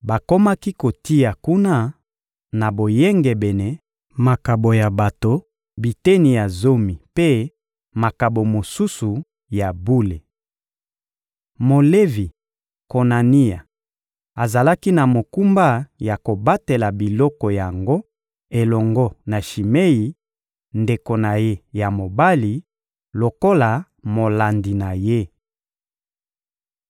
Bakomaki kotia kuna na boyengebene makabo ya bato, biteni ya zomi mpe makabo mosusu ya bule. Molevi Konania azalaki na mokumba ya kobatela biloko yango elongo na Shimei, ndeko na ye ya mobali, lokola molandi na ye.